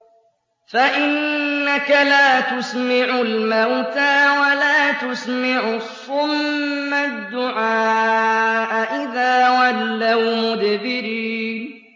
فَإِنَّكَ لَا تُسْمِعُ الْمَوْتَىٰ وَلَا تُسْمِعُ الصُّمَّ الدُّعَاءَ إِذَا وَلَّوْا مُدْبِرِينَ